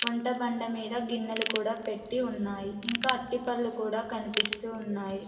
వంట బండ మీద గిన్నెలు కూడా పెట్టి ఉన్నాయి ఇంకా అరిటి పళ్ళు కూడా కనిపిస్తూ ఉన్నాయి.